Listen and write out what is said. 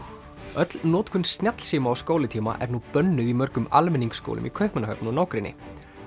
öll notkun snjallsíma á skólatíma er nú bönnuð í mörgum almenningsskólum í Kaupmannahöfn og nágrenni